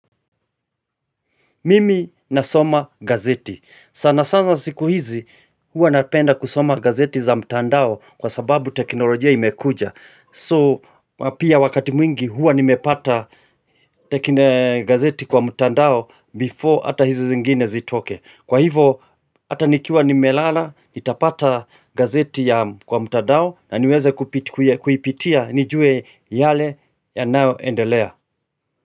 Mimi nasoma gazeti. Sana sasa siku hizi hua napenda kusoma gazeti za mtandao kwa sababu teknolojia imekuja. So pia wakati mwingi hua nimepata gazeti kwa mtandao before hata hizi zingine zitoke. Kwa hivo hata nikiwa nimelala nitapata gazeti ya kwa mtandao na niweze kuipitia nijue yale yanayo endelea.